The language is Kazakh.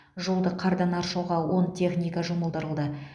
жолды қардан аршуға он техника жұмылдырылды